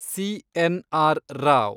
C. N R. Rao